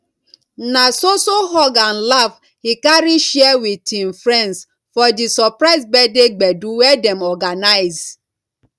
na so so hug and laff he carry share with him friends for di surprise birthday gbedu wey dem organize